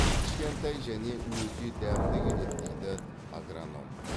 кішкентай және өте дәмді келеді дейді агроном